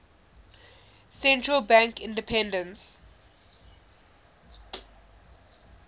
central bank independence